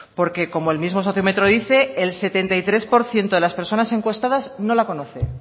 porque como el mismo sociómetro dice el setenta y tres por ciento de las personas encuestadas no la conoce